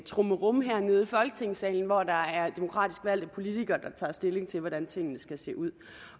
trummerum hernede i folketingssalen hvor der er demokratisk valgte politikere der tager stilling til hvordan tingene skal se ud